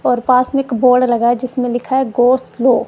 और पास में एक बोर्ड लगा जिसमें लिखा है गो स्लो --